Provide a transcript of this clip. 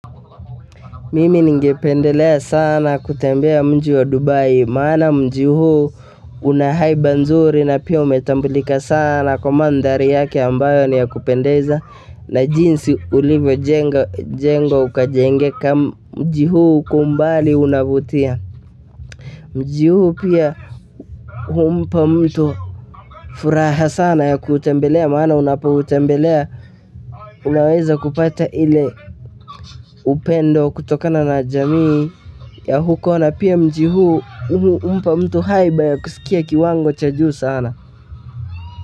Mimi ningependelea sana kutembea mji wa Dubai maana mji huu una haiba nzuri na pia umetambulika sana kwa mandari yake ambayo ni ya kupendeza na jinsi ulivojengwa ukajengeka mji huu kwa umbali unavutia mji huu pia humpa mtu furaha sana ya kuutembelea maana unapoutembelea unaweza kupata ile upendo kutokana na jamii ya huko na pia mji huu humpa mtu haiba ya kusikia kiwango cha juu sana.